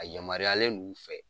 A yamaruyalen d'u fɛ